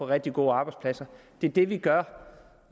rigtig gode arbejdspladser det er det vi gør